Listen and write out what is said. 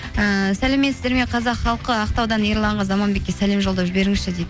ііі сәлеметсіздер ме қазақ халқы ақтаудан ерланға заманбекке сәлем жолдап жіберіңізші дейді